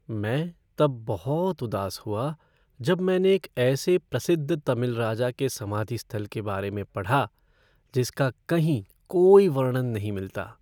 मैं तब बहुत उदास हुआ जब मैंने एक ऐसे प्रसिद्ध तमिल राजा के समाधि स्थल के बारे में पढ़ा जिसका कहीं कोई वर्णन नहीं मिलता।